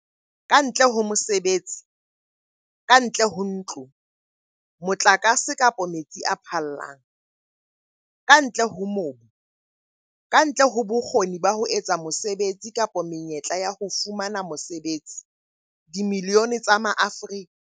Kantle ho mosebetsi, kantle ho ntlo, motlakase kapa metsi a phallang, kantle ho mobu, kantle ho bokgoni ba ho etsa mosebetsi kapa menyetla ya ho fumana mosebetsi, dimilione tsa Maafrika